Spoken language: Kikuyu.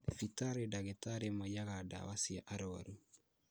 Thibitari ndagĩtarĩ maiyaga ndawa cia arwaru